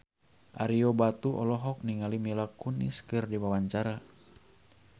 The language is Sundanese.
Ario Batu olohok ningali Mila Kunis keur diwawancara